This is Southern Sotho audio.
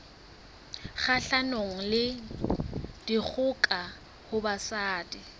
kgahlanong le dikgoka ho basadi